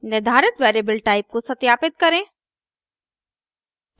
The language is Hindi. निर्धारित वेरिएबल टाइप को सत्यापित करें